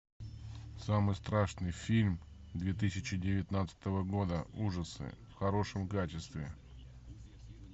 самый страшный фильм две тысячи девятнадцатого года ужасы в хорошем качестве